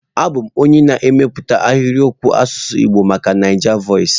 Abụ m onye na-emepụta ahịrịokwu asụsụ Igbo maka Naijavoices.